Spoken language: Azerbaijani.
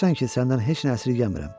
Görürsən ki, səndən heç nə əsirgəmirəm.